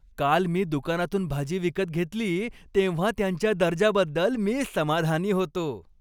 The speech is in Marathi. काल मी दुकानातून भाजी विकत घेतली तेव्हा त्यांच्या दर्जाबद्दल मी समाधानी होतो.